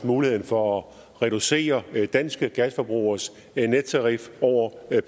mulighed for at reducere danske gasforbrugeres nettarif over